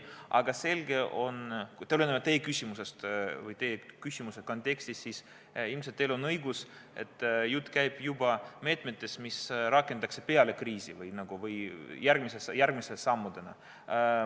Aga tulenevalt teie küsimusest või teie küsimuse kontekstist: ilmselt teil on õigus, jutt käib meetmetest, mida rakendatakse peale kriisi või järgmiste sammudena.